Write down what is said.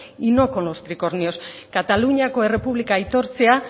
y no con los tricornios kataluniako errepublika aitortzea